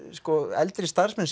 eldri starfsmenn